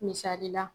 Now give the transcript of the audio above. Misali la